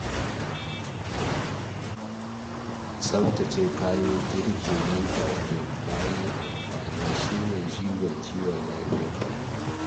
Tsaftace kayan girki nan take bayan amfani shine jigon kiwon lafiya.